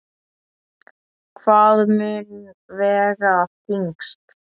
Hvað mun vega þyngst?